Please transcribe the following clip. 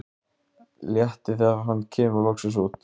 Léttir þegar hann kemur loksins út.